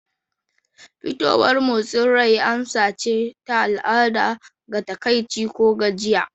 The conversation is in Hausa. Fitowar motsin rai amsa ce ta al'ada ga takaici ko gajiya.